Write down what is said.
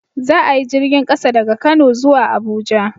Za a yi jirgin ƙasa daga kano zuwa Abuja